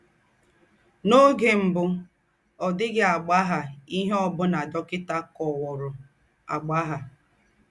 N’ọ́gè m̀bù, ọ̀ dị̀ghị́ àgbàghà íhe ọ́ bụ́nà dọ́kịtà kọ́wùrọ̀ àgbàghà.